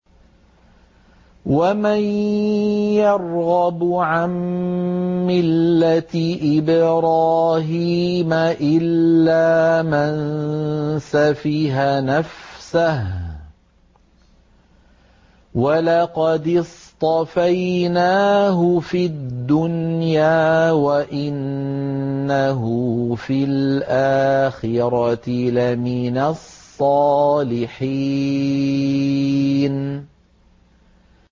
وَمَن يَرْغَبُ عَن مِّلَّةِ إِبْرَاهِيمَ إِلَّا مَن سَفِهَ نَفْسَهُ ۚ وَلَقَدِ اصْطَفَيْنَاهُ فِي الدُّنْيَا ۖ وَإِنَّهُ فِي الْآخِرَةِ لَمِنَ الصَّالِحِينَ